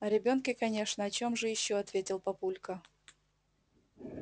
о ребёнке конечно о чем же ещё ответил папулька